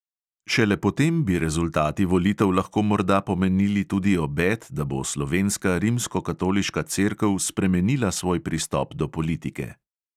Šele potem bi rezultati volitev lahko morda pomenili tudi obet, da bo slovenska rimskokatoliška cerkev spremenila svoj pristop do politike.